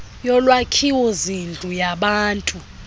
yolwakhiwo zindlu yabantu